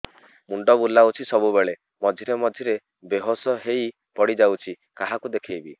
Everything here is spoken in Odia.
ମୁଣ୍ଡ ବୁଲାଉଛି ସବୁବେଳେ ମଝିରେ ମଝିରେ ବେହୋସ ହେଇ ପଡିଯାଉଛି କାହାକୁ ଦେଖେଇବି